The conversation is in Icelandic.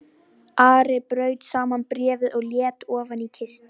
Ari braut saman bréfið og lét ofan í kistu.